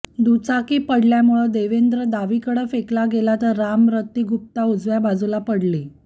दुचाकी पडल्यामुळं देवेंद्र डावीकडं फेकला गेला तर रामरती गुप्ता उजव्या बाजूला पडली